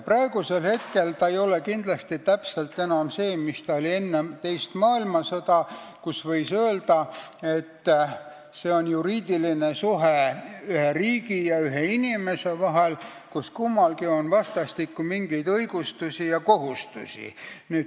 Praegu ei tähenda kodakondsus enam kindlasti täpselt sama mis enne teist maailmasõda, kui võis öelda, et see on ühe riigi ja ühe inimese vaheline juriidiline suhe, kus kummalgi on vastastikku mingid õigused ja kohustused.